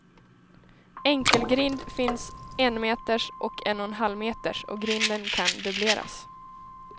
Enkelgrind, finns enmeters och en och en halvmeters och grinden kan dubbleras.